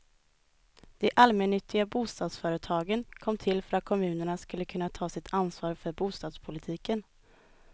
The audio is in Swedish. De allmännyttiga bostadsföretagen kom till för att kommunerna skulle kunna ta sitt ansvar för bostadspolitiken.